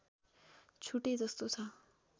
छुटेजस्तो छ